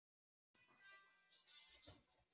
Fer hún ekki að koma í heimsókn?